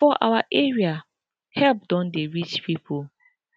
for our area help don dey reach people